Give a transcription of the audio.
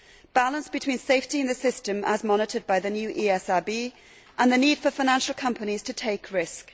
balance between safety in the system as monitored by the new ESRB and the need for financial companies to take risks